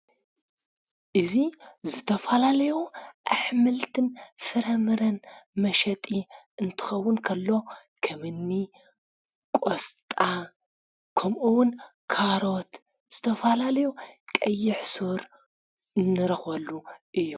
እዙይ ዝተፋላልዎ ኣኅምልትን ፍረምረን መሸጢ እንትኸውን ከሎ ኸምኒ ቖስጣ ከምኡውን ካሮት ዝተፋላልዩ ቀይሕ ሡር ንረኾሉ እዩ።